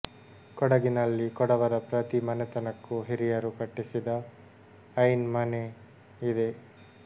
ಕೊಡಗಿನಲ್ಲಿ ಕೊಡವರ ಪ್ರತಿ ಮನೆತನಕ್ಕೂ ಹಿರಿಯರು ಕಟ್ಟಿಸಿದ ಐನ್ ಮನೆ ಇದೆ